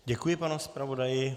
Děkuji panu zpravodaji.